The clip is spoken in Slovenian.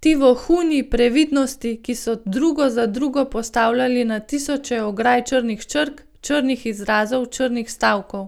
ti vohuni Previdnosti, ki so drugo za drugo postavljali na tisoče ograj črnih črk, črnih izrazov, črnih stavkov.